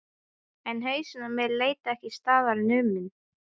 En hausinn á mér lét ekki staðar numið.